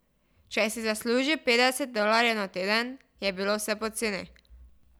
Če si zaslužil petdeset dolarjev na teden, je bilo vse poceni.